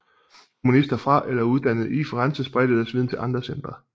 Humanister fra eller uddannet i Firenze spredte deres viden til andre centre